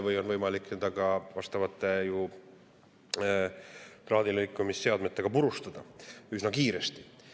Ja seda on võimalik ka traadilõikamisseadmetega üsna kiiresti purustada.